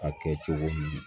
A kɛ cogo min na